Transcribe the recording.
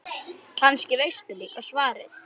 Kannski veistu líka svarið.